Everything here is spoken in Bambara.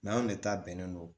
anw de ta bɛnnen don